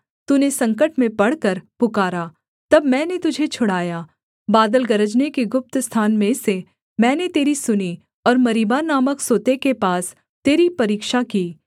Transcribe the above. तूने संकट में पड़कर पुकारा तब मैंने तुझे छुड़ाया बादल गरजने के गुप्त स्थान में से मैंने तेरी सुनी और मरीबा नामक सोते के पास तेरी परीक्षा की सेला